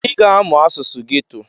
ị ga-amụ asụsụ geto!